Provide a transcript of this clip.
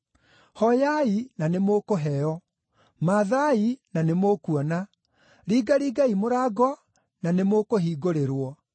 “Hooyai na nĩmũkũheo; mathaai na nĩmũkuona; ringaringai mũrango na nĩmũkũhingũrĩrwo.